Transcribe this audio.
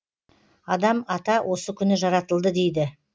адам ата осы күні жаратылды дейді